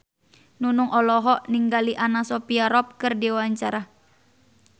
Nunung olohok ningali Anna Sophia Robb keur diwawancara